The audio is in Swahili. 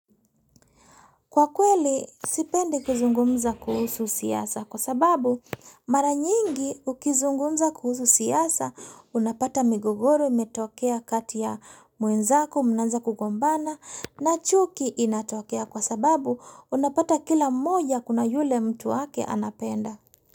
Kwa kweli sipendi kuzungumza kuhusu siasa kwa sababu mara nyingi ukizungumza kuhusu siasa unapata migogoro imetokea kati ya mwenzako mnaanza kugombana na chuki inatokea kwa sababu unapata kila mmoja kuna yule mtu wake anapenda.